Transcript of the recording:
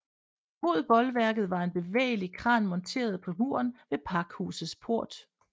Mod bolværket var en bevægelig kran monteret på muren ved pakhusets port